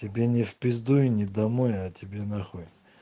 тебе не в пизду и не домой а тебе нахуй